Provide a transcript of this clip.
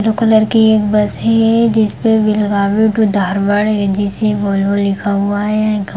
दो कलर की एक बस है जिसपे Belagavi to Dharwad AGC. Volvo लिखा हुआ है।